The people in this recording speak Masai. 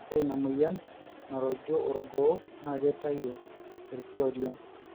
ore ina moyian naruju orgoo naa keitayu irki oriong